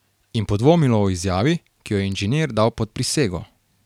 In podvomilo o izjavi, ki jo je inženir dal pod prisego.